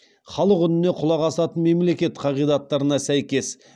халық үніне құлақ асатын мемлекет қағидаттарына сәйкес